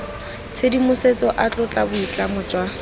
tshedimosetso a tlotla boitlamo jwa